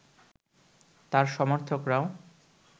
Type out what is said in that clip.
তার সমর্থকরাও